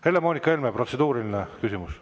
Helle-Moonika Helme, protseduuriline küsimus.